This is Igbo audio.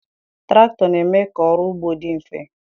traktọ na-eme ka ọrụ ugbo dị mfe